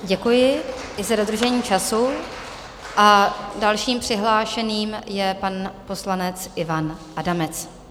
Děkuji i za dodržení času a dalším přihlášeným je pan poslanec Ivan Adamec.